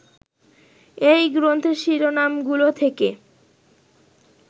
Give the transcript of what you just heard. এই গ্রন্থের শিরোনামগুলো থেকে